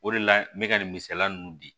O de la n bɛ ka nin misaliya ninnu di